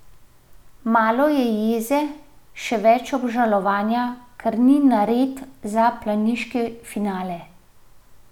Malo je jeze, še več obžalovanja, ker ni nared za planiški finale.